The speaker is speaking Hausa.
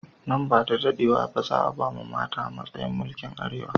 Nan bada daɗewa ba, za a ba mata matsayin mulki a Arewa.